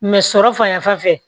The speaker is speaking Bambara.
sɔrɔ fanfɛ